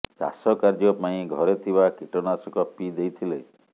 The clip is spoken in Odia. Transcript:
ଚାଷ କାର୍ଯ୍ୟ ପାଇଁ ଘରେ ଥିବା କୀଟନାଶକ ପିଇ ଦେଇଥିଲେ